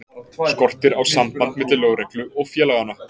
Skortir á samband milli lögreglu og félaganna?